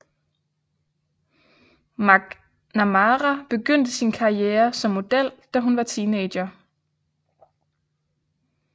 McNamara begyndte sin karriere som model da hun var teenager